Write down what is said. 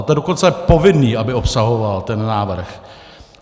A to je dokonce povinné, aby obsahoval ten návrh.